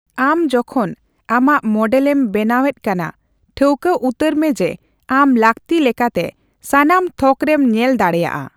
ᱟᱢ ᱡᱚᱠᱷᱚᱱ ᱟᱢᱟᱜ ᱢᱚᱰᱮᱹᱞ ᱮᱢ ᱵᱮᱱᱟᱣ ᱮᱫ ᱠᱟᱫᱟ, ᱴᱷᱟᱣᱠᱟᱹ ᱩᱛᱟᱹᱨ ᱢᱮ ᱡᱮ ᱟᱢ ᱞᱟᱹᱠᱛᱤ ᱞᱮᱠᱟᱛᱮ ᱥᱟᱱᱟᱢ ᱛᱷᱚᱠ ᱨᱮᱢ ᱧᱮᱞ ᱫᱟᱲᱮᱭᱟᱜᱼᱟ ᱾